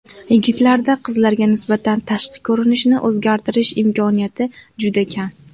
Yigitlarda qizlarga nisbatan tashqi ko‘rinishni o‘zgartirish imkoniyati juda kam.